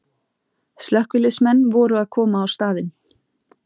Slökkviliðsmenn voru að koma á staðinn